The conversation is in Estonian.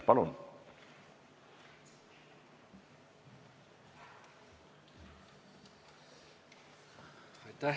Palun!